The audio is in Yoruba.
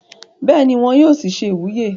bẹ́ẹ̀ni, wọn yóò sì se ìwúyè